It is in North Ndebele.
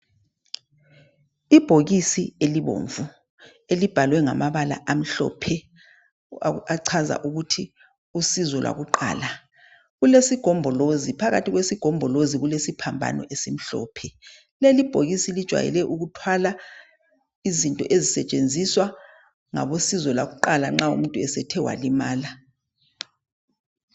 Ibhokisi elibomvu elibhalwe ngamabala amhlophe achaza ukuthi usizo lwakuqala kulesigombolozi phakathi kwesigombolozi kulesiphambano esimhlophe leli bhokisi likwayele ukuthwala izinto ezisetshenziswa ngabosizo lwakuqala nxa umuntu esethe wali mala